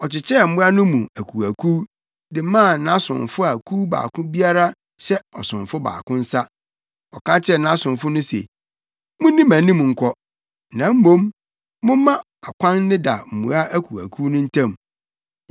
Ɔkyekyɛɛ mmoa no mu akuwakuw, de maa nʼasomfo a kuw baako biara hyɛ ɔsomfo baako nsa. Ɔka kyerɛɛ nʼasomfo no se, “Munni mʼanim nkɔ, na mmom, momma akwan nneda mmoa akuwakuw no ntam.”